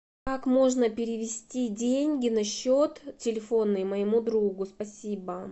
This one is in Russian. как можно перевести деньги на счет телефонный моему другу спасибо